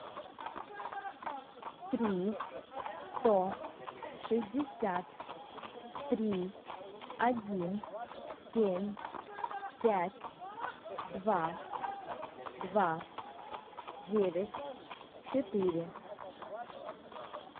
три сто шестьдесят три один семь пять два два девять четыре